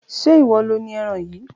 ṣe ìwọ lo ni eran yìí?